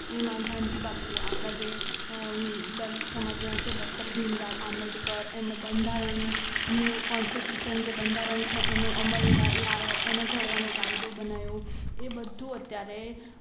એમાં ગાંધી બાપુ આપણા જે દલિત સમાજના જે છે ડોક્ટર ભીમ રાવ આંબેડકર એમણે બંધારણ કોનસ્ટીટ્યુશન બંધારણ જે છે એનો અમલ લાઓ એને ઘડવાનો કાયદો બનાવ્યો એ બધું અત્યારે